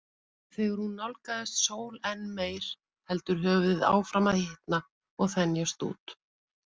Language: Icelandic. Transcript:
Þegar hún nálgast sól enn meir heldur höfuðið áfram að hitna og þenjast út.